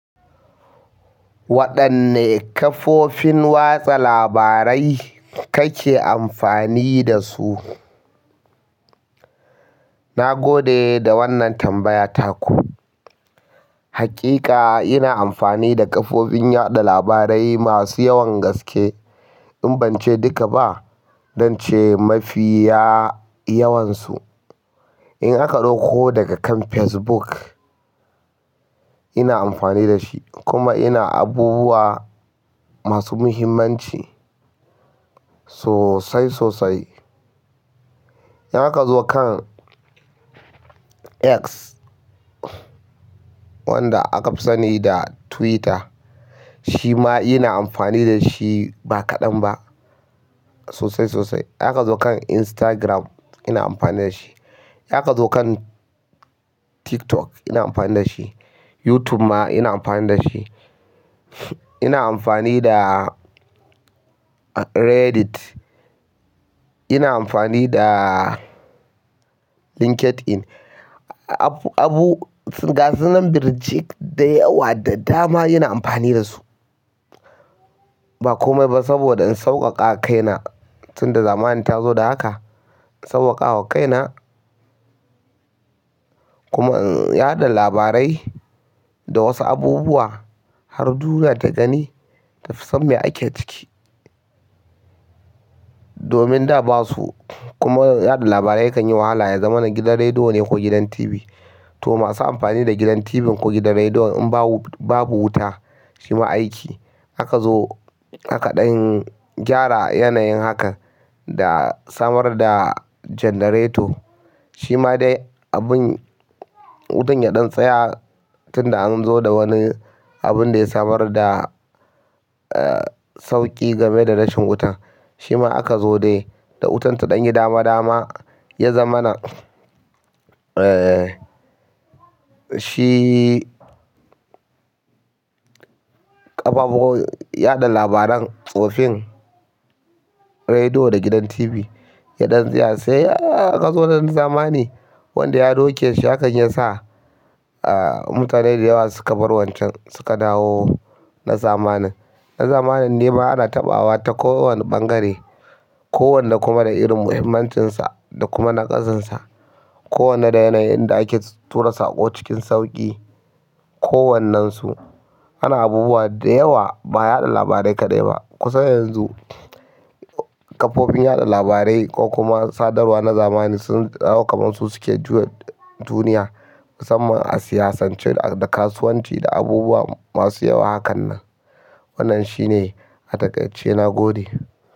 Waɗanne kafofin watsa labarai kake amfani da su? Na gode da wannan tambaya taku. Hakika ina amfani da kafofin yaɗa labarai masu yawan gaske. In bance duka ba, zance mafiya yawansu. In aka ɗau ko daga kan Facebook, ina amfani da shi kuma ina abubuwa masu muhimmanci sosai sosai. In aka zo kan X wanda aka fi sani da Twitter, shi ma ina amfani da shi ba kaɗan ba sosai sosai. In aka zo kan Instagram ina amfani da shi. In aka zo kan TikTok ina amfani da shi. YouTube ma ina amfani da shi. Ina amfani da Reddit. Ina amfani da LinkedIn. Abu, gasunan birjik da yawa da dama ina amfani da su. Ba komai ba saboda in sauƙaƙa kaina tunda zamani ta zo da haka. Sawwaka wa kaina kuma in yaɗa labarai da wasu abubuwa har duniya ta gani da fisan me ake ciki. Domin da basu kuma yaɗa labarai kan yi wahala ya zama na gidan rediyo ne ko gidan TV. To masu amfani da gidan TV ko gidan rediyo in babu wuta shi ma aiki. Aka zo haka ɗan gyara yanayin hakan da samar da janareto. Shi ma dai abin wutan ya ɗan tsaya tunda an zo da wani abun da ya samar da, eh sauƙi game da rashin wuta. Shi ma aka zo dai da wutan ta ɗan yi dama dama ya zama na, eh shi ƙafafu yaɗa labaran tsofin rediyo da gidan TV ya ɗan tsaya. Sai aka zo na zamani wanda ya ɗauke shi hakan yasa mutane dawa suka bar wancan suka dawo na zamanin na zamanin ne ma ana taɓawa ta ko wanne ɓangare. Ko wanda kuma da irin muhimmancinsa da kuma naƙasansa. Ko wanne da yanayin da ake tura saƙo cikin sauƙi. Ko wannan su. Ana abubuwa da yawa ba yaɗa labarai kaɗai ba. Kusan yanzu kafofin yaɗa labarai ko kuma sadarwa na zamani sun dawo kaman su suke juya duniya. Musamman a siyasance da kasuwanci da abubuwa masu yawa hakan nan. Wannan shine a taƙaice na gode.